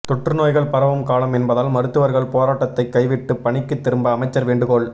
தொற்று நோய்கள் பரவும் காலம் என்பதால் மருத்துவர்கள் போராட்டத்தைக் கைவிட்டு பணிக்கு திரும்ப அமைச்சர் வேண்டுகோள்